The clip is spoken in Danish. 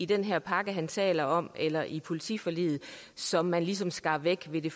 den her pakke han taler om eller i politiforliget som man ligesom skar væk ved det